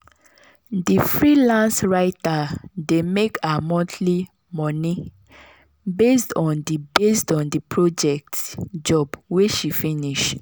the freelance writer dey make her monthly money based on the based on the project job wey she finish.